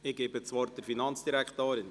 Ich gebe das Wort der Finanzdirektorin.